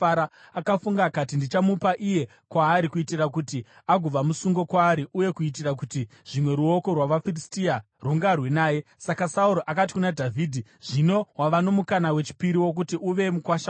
Akafunga akati, “Ndichamupa iye kwaari, kuitira kuti agova musungo kwaari uye kuitira kuti zvimwe ruoko rwavaFiristia rungarwe naye.” Saka Sauro akati kuna Dhavhidhi, “Zvino wava nomukana wechipiri wokuti uve mukuwasha wangu.”